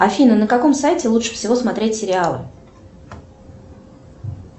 афина на каком сайте лучше всего смотреть сериалы